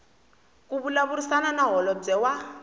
ku vulavurisana na holobye wa